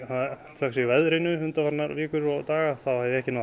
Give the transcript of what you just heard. þökk sé veðrinu undanfarnar vikur og daga þá hef ég ekki náð